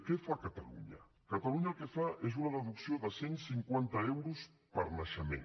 què fa catalunya catalunya el que fa és una deducció de cent cinquanta euros per naixement